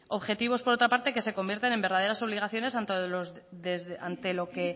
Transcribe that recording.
objetivos por otra parte que se convierten en verdaderas obligaciones ante lo que